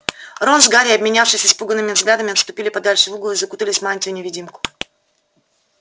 рон с гарри обменявшись испуганными взглядами отступили подальше в угол и закутались в мантию-невидимку